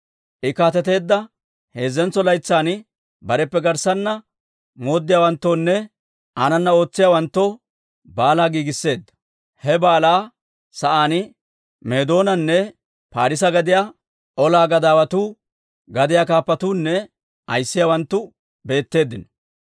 I kaateteedda heezzentso laytsan, bareppe garssanna mooddiyaawanttoonne aanana ootsiyaawanttoo baalaa giigisseedda. He baalaa sa'aan Meedoonanne Parisse gadiyaa ola gadaawatuu, gadiyaa kaappatuunne ayissiyaawanttu beetteeddino.